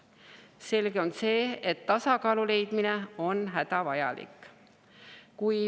Selge on see, et tasakaalu leidmine on hädavajalik.